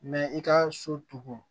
i ka so tugun